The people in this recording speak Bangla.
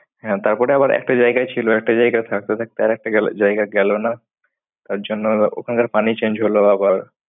হ্যাঁ তারপরে আবার একটা জায়গায় ছিল একটা জায়গায় থাকতে থাকতে আর একটা গেল জায়গায় গেল না তার জন্য ওখানকার পানি change হলো আবার।